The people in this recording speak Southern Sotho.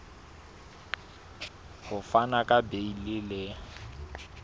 ho fana ka beile le